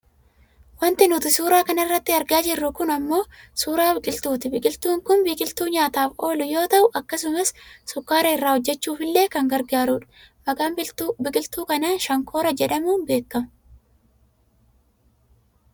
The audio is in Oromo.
Wanti nuti suuraa kanarratti argaa jirru kun ammoo suuraa biqiltuuti. Biqiltuun kun biqiltuu nyaataaf oolu yoo ta'u akkasumas sukkaara irraa hojjachuufillee kan gargaaru dha. Maqaan biqiltuu kanaa shankoora jedhamuun beekkama.